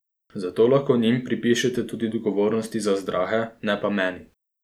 Zato lahko njim pripišete tudi odgovornost za zdrahe, ne pa meni ...